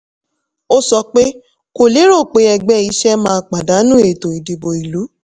ó sọ pé kò lérò pé ẹgbẹ́ iṣẹ́ máa pàdánù ètò ìdìbò ìlú.